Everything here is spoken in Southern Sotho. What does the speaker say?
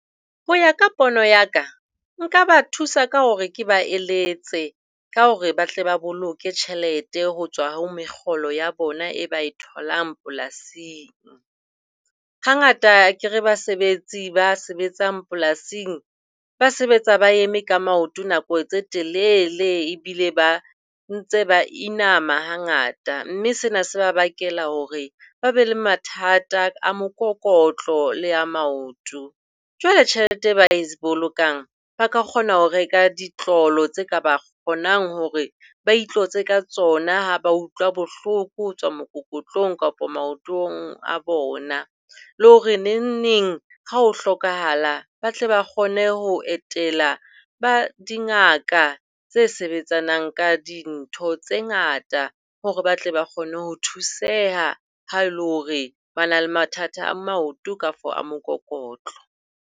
Ho ya ka pono ya ka, nka ba thusa ka hore ke ba eletse ka hore ba tle ba boloke tjhelete ho tswa ho mekgolo ya bona e ba e tholang polasing. Hangata akere basebetsi ba sebetsang polasing ba sebetsa ba eme ka maoto nako tse telele ebile ba ntse ba inama ha ngata, mme sena se ba bakela hore ba be le mathata a mokokotlo le a maoto. Jwale tjhelete e ba e bolokang, ba ka kgona ho reka ditlolo tse ka ba kgonang hore ba itlotse ka tsona ha ba utlwa bohloko ho tswa mokokotlong kapa maotong a bona, le hore nengneng ha ho hlokahala ba tle ba kgone ho etela ba dingaka tse sebetsanang ka dintho tse ngata hore ba tle ba kgone ho thuseha ha e le hore ba na le mathata a maoto kafo a mokokotlo.